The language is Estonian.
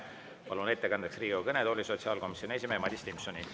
Palun ettekandeks Riigikogu kõnetooli sotsiaalkomisjoni esimehe Madis Timpsoni.